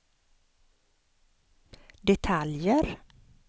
detaljer